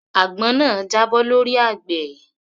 Àgbọn náà jábọ́ lọ́rí àgbẹ̀